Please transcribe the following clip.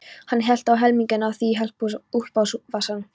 Hann hellti helmingnum af því í úlpuvasann.